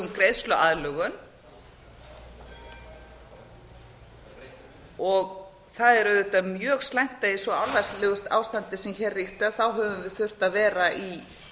greiðsluaðlögun það er auðvitað mjög slæmt að í svo ástandi sem hér ríkti höfum við þurft að vera í